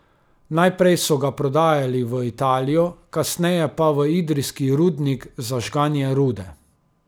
Najprej so ga prodajali v Italijo, kasneje pa v idrijski rudnik za žganje rude.